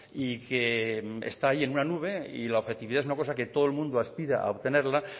y que está ahí en una nube y la objetividad es una cosa que todo el mundo aspira a obtenerla